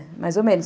É, mais ou menos.